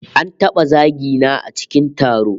An taba zagi na a cikin taro